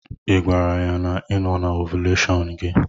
Ị gwara ya na ị no na ovuleshon gi?